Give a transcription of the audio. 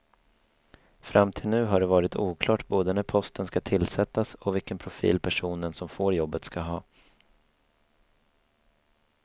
Fram till nu har det varit oklart både när posten ska tillsättas och vilken profil personen som får jobbet ska ha.